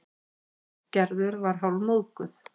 Gerður var hálfmóðguð.